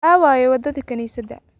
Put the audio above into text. Aaway wadadii kaniisada?